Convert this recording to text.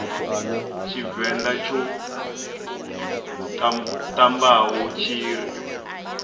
tshivenḓa tsho ṱambaho tshi ri